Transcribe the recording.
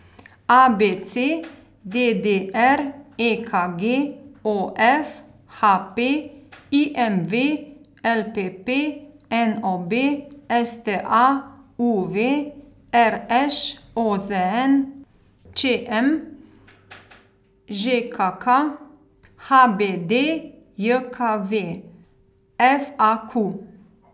A B C; D D R; E K G; O F; H P; I M V; L P P; N O B; S T A; U V; R Š; O Z N; Č M; Ž K K; H B D J K V; F A Q.